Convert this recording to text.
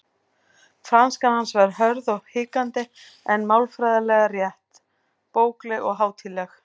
Franskan hans var hörð og hikandi en málfræðilega rétt, bókleg og hátíðleg.